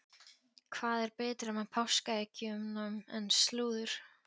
Hvað er betra með páskaeggjunum en slúður?